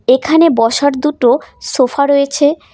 এখানে বসার দুটো সোফা রয়েছে।